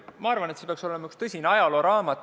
Ma arvan, et see peaks olema üks tõsine ajalooraamat.